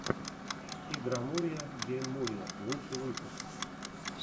игромурия гейммурия лучший выпуск